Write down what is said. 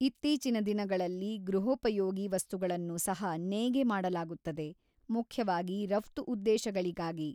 ಇತ್ತೀಚಿನ ದಿನಗಳಲ್ಲಿ, ಗೃಹೋಪಯೋಗಿ ವಸ್ತುಗಳನ್ನು ಸಹ ನೇಯ್ಗೆ ಮಾಡಲಾಗುತ್ತದೆ; ಮುಖ್ಯವಾಗಿ ರಫ್ತು ಉದ್ದೇಶಗಳಿಗಾಗಿ.